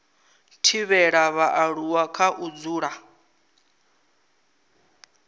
thivhela vhaaluwa kha u dzula